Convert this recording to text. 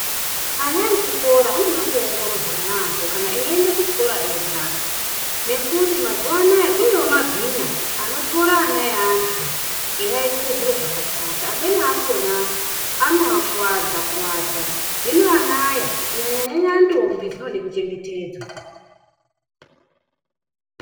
Ana echikora anoda kuongororwa yaampho kana eiendae kuchikora ega, nekuti mazuwa anaya kunewo mabhinya anotorwa ana eantu ,eiaitise zviro zvakashata. Amweni akhona, anoakuwadza-kuwadza. Hino ana aya , kunyanya-nyanya ndombi ,dzinode kuchengetedzwa.